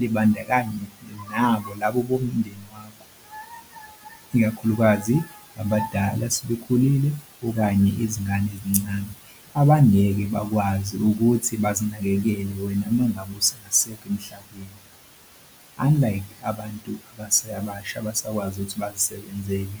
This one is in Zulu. libandakanye nabo labo bomndeni wakho, ikakhulukazi abadala, asebekhulile okanye izingane ezincane abangeke bakwazi ukuthi bazinakekele wena uma ngabe usungasekho emhlabeni unlike abantu abaseyabasha abasakwazi ukuthi bazisebenzele.